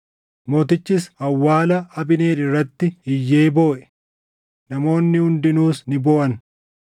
Isaanis Abneerin Kebroonitti awwaalan; mootichis awwaala Abneer irratti iyyee booʼe; namoonni hundinuus ni booʼan.